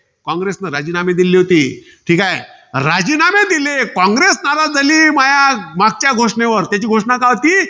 कॉंग्रेसने राजीनामे दिले होते. ठीके. राजीनामे दिले, कॉंग्रेस नाराज झाली. माया मागच्या घोषणेवर. त्याची मागची घोषणा काय होती?